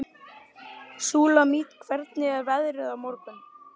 Súlamít, hvernig er veðrið á morgun?